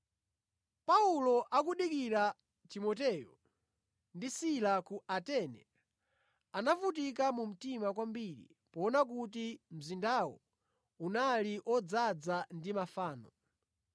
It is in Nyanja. Paulo akudikira Timoteyo ndi Sila ku Atene, anavutika mu mtima kwambiri poona kuti mzindawo unali odzaza ndi mafano.